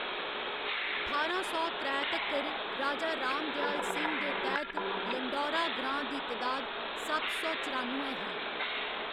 ठारां सौ त्रै तक्कर, राजा राम दयाल सिंह दे तैह्‌‌‌त लंढौरा ग्रां दी तदाद सत्त सौ चरानुए ही।